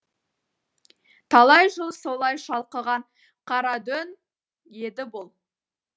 талай жыл солай шалқыған қарадөң еді бұл